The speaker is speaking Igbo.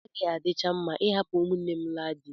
Ọ gaghị adịcha mma ịhapụ ụmụnne m laa di.